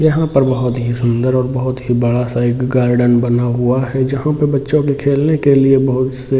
यहां पर बहुत ही सुंदर और बहुत ही बड़ा सा एक गार्डन बना हुआ है जहां पर बच्चों के खेलने के लिए बहुत से --